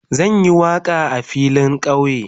Zan yi waka a filin kauye.